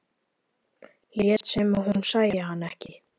Lét sem hún sæi hann ekki.